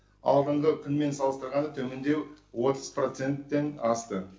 алдыңғы күнмен салыстырғанда төмендеу отыз проценттен асты